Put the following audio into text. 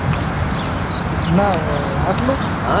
ના હોય આટલું